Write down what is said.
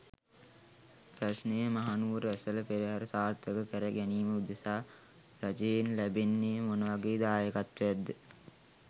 ප්‍රශ්නය මහනුවර ඇසළ පෙරහර සාර්ථක කැර ගැනීම උදෙසා රජයෙන් ලැබෙන්නේ මොනවගේ දායකත්වයක් ද?